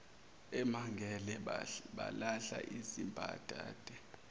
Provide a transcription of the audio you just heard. emangele balahla izimbadada